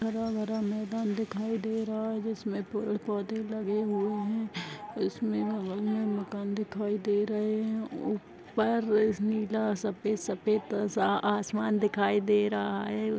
हरा भरा मैदान दिखाई दे रहा है जिसमें पेड़-पौधे लगे हुए हैं इसमें बगल में मकान दिखाई दे रहे हैं ऊपर नीला सफेद सफेद सा आसमान दिखाई दे रहा है।